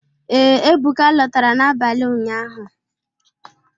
Ee, Ebụka lọtara n'abalị ụnyaahụ